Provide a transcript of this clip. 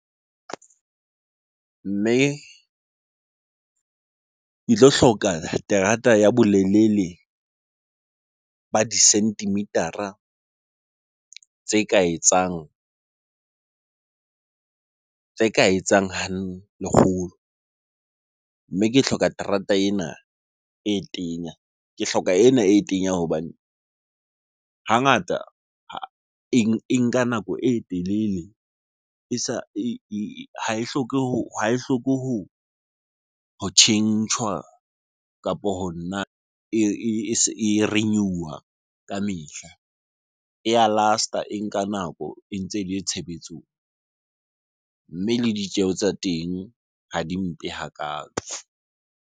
Mme ke tlo hloka terata ya bolelele ba di centimeter-a tse ka etsang ha lekgolo. Mme ke hloka terata ena e tenya, ke hloka ena e tenya hobane hangata e nka nako e telele e sa, ha e hloke ho tjhentjhwa kapo ho nna e renew-a ka mehla. E ya last-a, e nka nako e ntse ele tshebetsong. Mme le ditjeho tsa teng ha di mpe hakaalo.